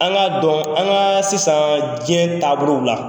An ka dɔn an ka sisan diɲɛ taabolow la.